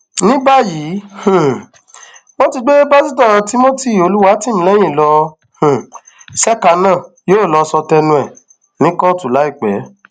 ní báyìí um wọn ti gbé pásítọ timothy olùwátìmílẹyìn lọ um ṣèkà náà yóò lọọ sọ tẹnu ẹ ní kóòtù láìpẹ